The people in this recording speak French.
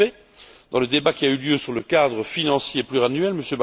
En effet, dans le débat qui a eu lieu sur le cadre financier pluriannuel, M.